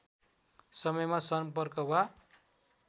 समयमा सम्पर्क वा